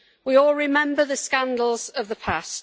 We all remember the scandals of the past.